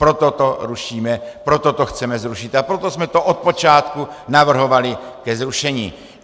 Proto to rušíme, proto to chceme zrušit a proto jsme to od počátku navrhovali ke zrušení.